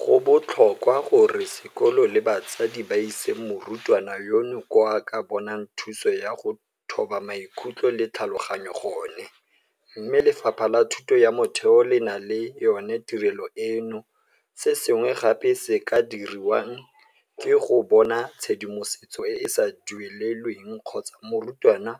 Go botlhokwa gore sekolo le batsadi ba ise morutwana yono ko a ka bonang thuso ya go thoba maikutlo le tlhaloganyo gone, mme Lefapha la Thuto ya Motheo le na le yona tirelo eno, se sengwe gape se se ka diriwang ke go bona tshedimosetso e e sa duelelweng kgotsa morutwana